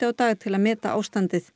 á dag til að meta ástandið